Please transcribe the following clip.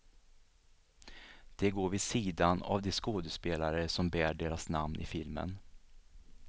De går vid sidan av de skådespelare som bär deras namn i filmen.